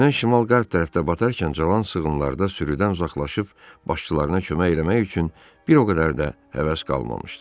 Günəş şimal-qərb tərəfdə batarkən cavan sığınlarda sürüdən uzaqlaşıb başçılarına kömək eləmək üçün bir o qədər də həvəs qalmamışdı.